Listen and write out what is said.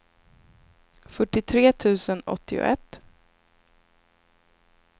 fyrtiotre tusen åttioett